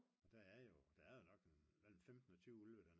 og der er jo der er nok nogen mellem 15 og 20 ulve